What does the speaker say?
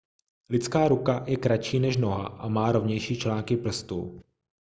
lidská ruka je kratší než noha a má rovnější články prstů